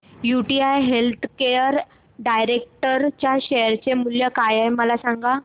UTI healthcare direct च्या share चे मूल्य काय आहे मला सांगा